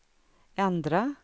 ändra